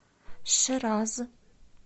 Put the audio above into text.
шираз